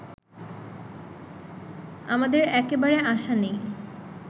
আমাদের একেবারে আশা নেই